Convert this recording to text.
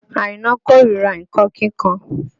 Àìná kó ríra nǹkan kíkan